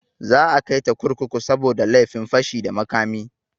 Za a kaita kurkuku saboda laifin fashi da makami.